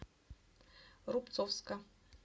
рубцовска